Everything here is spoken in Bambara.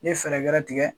N ye fɛɛrɛ gɛrɛ tigɛ